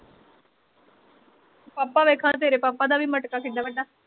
ਪਾਪਾ ਵੇਖ ਹਾਂ ਤੇਰੇ ਹੋਰ ਤੇਰੇ ਪਾਪਾ ਦਾ ਵੀ ਮਟਕਾ ਕਿੱਡਾ ਵੱਡਾ